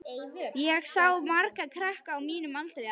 Ég sá marga krakka á mínum aldri þarna.